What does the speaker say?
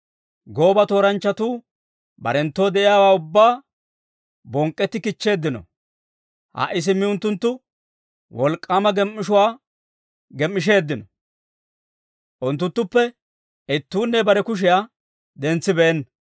Gooba tooranchchatuu, barenttoo de'iyaawaa ubbaa bonk'k'etti kichcheeddino. Ha"i simmi unttunttu, wolk'k'aama gem"ishshuwaa gem"isheeddino; unttunttuppe ittuunne bare kushiyaa dentsibeenna.